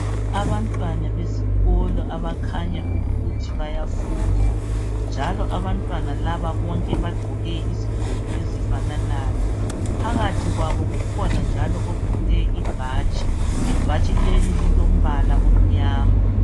Abantwana besikolo abakhanya ukuthi bayafunda njalo abantwana laba bonke bagqoke izigqoko ezifananayo. Phakathi kwabo kukhona njalo ogqoke ibhatshi. Ibatshi leli lilombala omnyama.